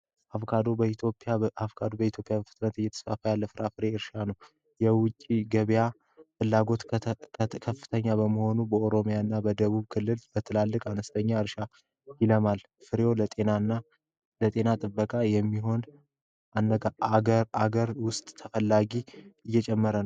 አቦካዶ በኢትዮጵያ በፍጥነት እየተስፋፋ ያለ የፍራፍሬ እርሻ ነው። የውጭ ገበያ ፍላጎት ከፍተኛ በመሆኑ በኦሮሚያ እና በደቡብ ክልል በትላልቅ እርሻ ይለማል። ፍሬው ለጤና ጥበቃ በሚሆን ሀገር ውስጥ እየጨመረ ነዉ።